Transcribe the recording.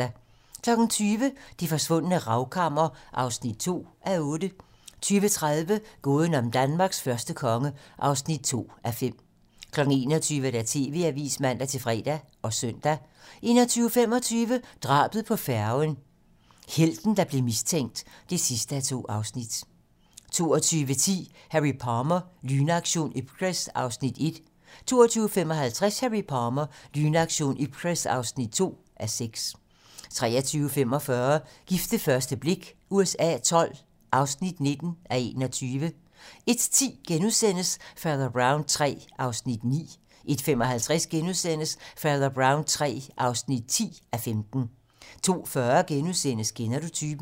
20:00: Det forsvundne ravkammer (2:8) 20:30: Gåden om Danmarks første konge (2:5) 21:00: TV-Avisen (man-fre og søn) 21:25: Drabet på færgen - helten der blev mistænkt (2:2) 22:10: Harry Palmer - Lynaktion Ipcress (1:6) 22:55: Harry Palmer - Lynaktion Ipcress (2:6) 23:45: Gift ved første blik USA XII (19:21) 01:10: Fader Brown III (9:15)* 01:55: Fader Brown III (10:15)* 02:40: Kender du typen? *